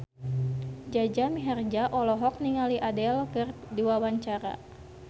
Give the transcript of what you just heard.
Jaja Mihardja olohok ningali Adele keur diwawancara